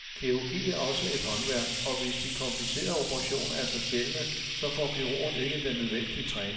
Kirurgi er også et håndværk, og hvis de komplicerede operationer er så sjældne, så får kirurgerne ikke den nødvendige træning.